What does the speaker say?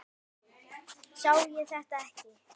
Sá ég þetta ekki?